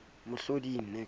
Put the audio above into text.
mohloding le ha e le